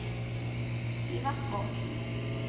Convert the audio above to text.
Sivert Bårdsen